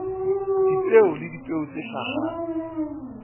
dipeo le dipeo tse hlahang